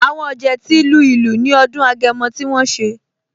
Àwọn ọ̀jẹ̀ ti lu ìlù ní ọdún Agẹmọ tí wọ́n ṣe